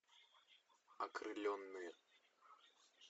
окрыленные